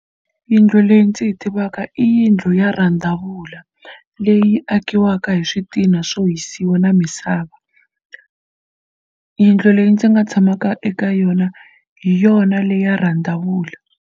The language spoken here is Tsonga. Yindlu leyi ndzi yi tivaka i yindlu ya rhandzavula leyi akiwaka hi switina swo hisiwa na misava. Yindlu leyi ndzi nga tshamaka eka yona hi yona leyi ya rhandzavula.